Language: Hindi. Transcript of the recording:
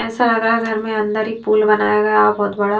ऐसा लग रहा है घर में अंदर ही पूल बनाया गया बहुत बड़ा--